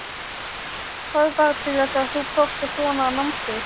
Hvað varð til þess að þú fórst á svona námskeið?